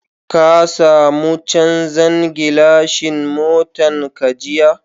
Ka samu chanzan gilashin motan ka jiya?